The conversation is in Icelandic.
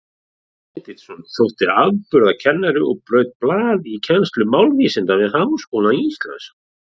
Hreinn Benediktsson þótti afburðakennari og braut blað í kennslu málvísinda við Háskóla Íslands.